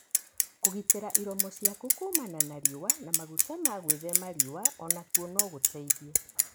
Kũgitĩra iromo ciaku kumana na riũa na maguta ma gwithema riũa onakuo no gũteithie.